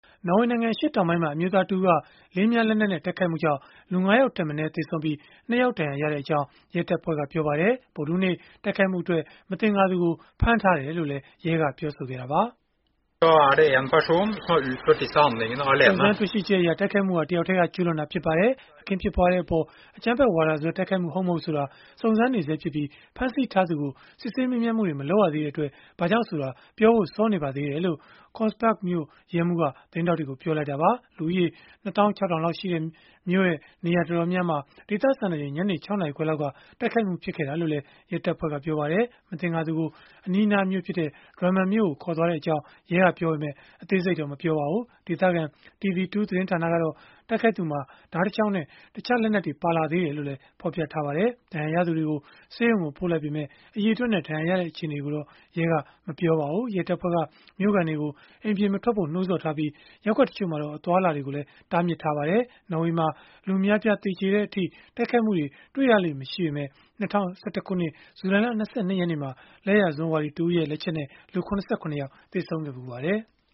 နော်ဝေနိုင်ငံ အရှေ့တောင်ပိုင်းမှာ အမျိုးသားတဦးက လေး၊ မြား လက်နက်နဲ့ တိုက်ခိုက်မှုကြောင့် လူ ၅ ယောက်ထက်မနည်း သေဆုံးပြီး၊ ဒဏ်ရာရသူတွေလည်း ရှိခဲ့ကြောင်း ရဲတပ်ဖွဲ့က ပြောပါတယ်။ ဗုဒ္ဓဟူးနေ့က တိုက်ခိုက်မှုအတွက် မသင်္ကာသူကို ဖမ်းထားတယ်လို့လည်း ရဲကပြောပါတယ်။ “စုံစမ်းတွေ့ရှိချက်အရ တိုက်ခိုက်မှုဟာ တယောက်တည်းက ကျုးလွန်တာဖြစ်ပါတယ်။ အခင်းဖြစ်ပွားတဲ့အပေါ် အကြမ်းဖက်ဝါဒစွဲ တိုက်ခိုက်မှု ဟုတ်မဟုတ်ဆိုတာ စုံစမ်းနေဆဲဖြစ်ပြီး၊ ဖမ်းဆီးထားသူကို စစ်ဆေးမေးမြန်းမှုတွေ မလုပ်ရသေးတဲ့အတွက် ဘာကြောင့်ဆိုတာ ပြောဖို့စောနေပါသေးတယ်။” လို့ Kongsberg မြို့ ရဲမှူး Øyvind Aas က သတင်းထောက်တွေကို ပြောလိုက်တာပါ။ လူဦးရေ ၂၆၀၀၀ လောက်ရှိတဲ့ Kongsberg မြို့ နေရာတော်တာ်များများမှာ ဒေသစံတော်ချိန် ညနေ ၆နာရီခွဲလောက်က တိုက်ခိုက်ခဲ့တာလို့လည်း ရဲတပ်ဖွဲ့က ပြောပါတယ်။ မသင်္ကာသူကို အနီးအနားမြို့ဖြစ်တဲ့ Drammen ကို ခေါ်သွားကြောင်း ရဲကပြောပေမဲ့ အသေးစိတ်ကိုတော့ မပြောပါဘူး။ ဒေသခံ TV2 သတင်းဌာနကတော့ တိုက်ခိုက်သူမှာ ဓားတချောင်းနဲ့ တခြားလက်နက်တွေ ပါလာသေးတယ်လို့လည်း ဖော်ပြပါတယ်။ ဒဏ်ရာရသူတွေကို ဆေးရုံကို ပို့လိုက်ပေမဲ့ အရေအတွက်နဲ့ ဒဏ်ရာအခြေအနေတွေကိုတော့ ရဲကမပြောပါဘူး။ ရဲတပ်ဖွဲ့က မြို့ခံတွေကို အိမ်ပြင်မထွက်ကြဖို့ နှိုးဆော်ထားပြီး၊ ရပ်ကွက်တချို့မှာတော့ အသွားအလာတွေ တားမြစ်ထားပါတယ်။ နော်ဝေနိုင်ငံမှာ လူအများအပြား သေကျေတဲ့အထိ တိုက်ခိုက်မှုတွေ တွေ့ရလေ့ မရှိပေမဲ့ ၂၀၁၁ ခုနှစ် ဇူလိုင်လ ၂၂ ရက်နေ့မှာ လက်ယာစွန်းဝါဒီ Anders Behring Breivik ရဲ့ လက်ချက်နဲ့ လူ ၇၇ ယောက် သေဆုံးခဲ့ဖူးပါတယ်။